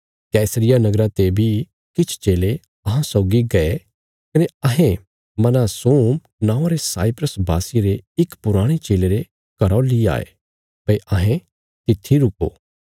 कैसरिया नगरा ते बी किछ चेले अहां सौगी गये कने अहें मनासोम नौआं रे साइप्रस वासिये रे इक पुराणे चेले रे घरौ ली आये भई अहें तित्थी रूको